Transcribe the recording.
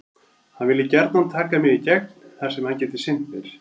Hann vilji gjarnan taka mig í gegn þar sem hann geti sinnt mér.